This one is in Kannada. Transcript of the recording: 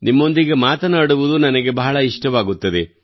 ನಿಮ್ಮೊಂದಿಗೆ ಮಾತನಾಡುವುದು ನನಗೆ ಬಹಳ ಇಷ್ಟವಾಗುತ್ತದೆ